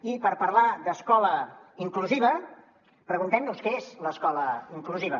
i per parlar d’escola inclusiva preguntem nos què és l’escola inclusiva